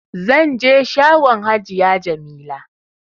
Zanje shagon hajiya jamila